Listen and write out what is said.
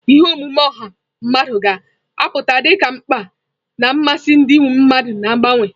Ihe omume ọha mmadụ ga-apụta dị ka mkpa na mmasị ndị mmadụ na-agbanwe.